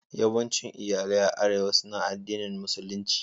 Yawancin iyalai a Arewa suna addinin Musulunci.